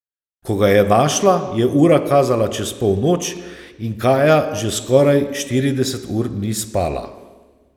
Ko ga je našla, je ura kazala čez polnoč in Kaja že skoraj štirideset ur ni spala.